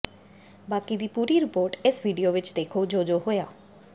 ਬਾਕੀ ਦੀ ਪੂਰੀ ਰਿਪੋਰਟ ਇਸ ਵੀਡੀਓ ਵਿਚ ਦੇਖੋ ਜੋ ਜੋ ਹੋਇਆ